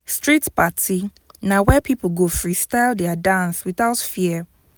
street party na where people go freestyle their dance without fear.